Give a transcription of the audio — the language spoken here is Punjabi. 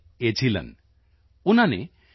ਏਝਿਲਨ ਉਨ੍ਹਾਂ ਨੇ ਪੀ